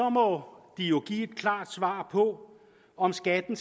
må de jo give et klart svar på om skatten